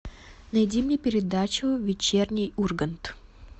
найди мне передачу вечерний ургант